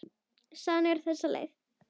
Sagan er á þessa leið: